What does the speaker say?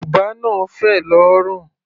Bùbá náà fẹ̀ lórùn.